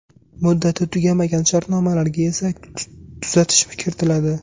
Muddati tugamagan shartnomalarga esa tuzatish kiritiladi.